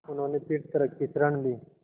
उन्होंने फिर तर्क की शरण ली